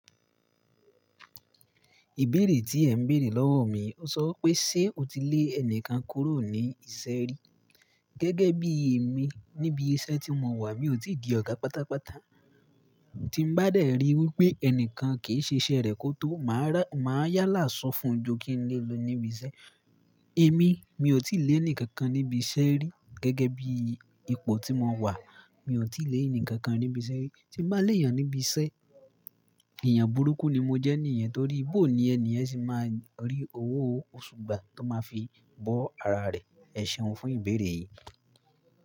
Ìbéèrè tí ẹ ń béèrè lọ́wọ́ mi, ó sọ pé ṣe o ti lé ẹni kan kúrò ní ìṣẹ́ rí? Gẹ́gẹ́ bíi èmi, níbi iṣẹ́ tí mo wà, mi ò tí di ọ̀gá pátápátá. Tí mo bá dé rí wípé ẹnìkan kìí ṣe iṣẹ́ rẹ̀ kó tó, maa màá yálà sọ fún ju kí n lé e lọ níbi iṣẹ́. Èmi, mi ò tí lè ẹni kankan níbi iṣẹ́ rí. Gẹ́gẹ́ bí ipò tí mo wà, mi ò tí lè ẹni kankan níbi iṣẹ́ rí. Tí mo bá lé èèyàn níbi iṣẹ́, èèyàn burúkú ni mo jẹ́ níyẹn torí, bóoní ẹni ẹ́ sì máa rí owó òṣù gbà tó máa fi bọ́ ara rẹ̀. Ẹ ṣeun fún ìbéèrè yìí.